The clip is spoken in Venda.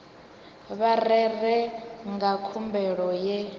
vha rere nga khumbelo ya